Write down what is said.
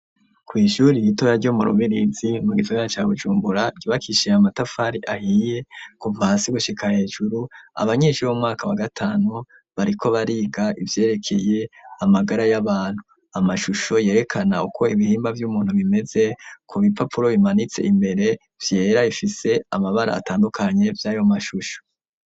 Kw'ishure ritoya ryo mu Ruberezi mu gisagara ca Bujumbura ryubakishije amatafari ahiye kuva hasi gushika hejuru abanyeshure bo mu mwaka wa gatanu bariko bariga ivyerekeye amagara y'abantu amashusho yerekana uko ibihimba vy'umuntu bimeze ku bipapuro bimanitse imbere vyera bifise amabara atandukanye vy'ayo mashusho.